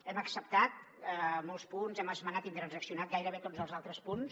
hem acceptat molts punts hem esmenat i transaccionat gairebé tots els altres punts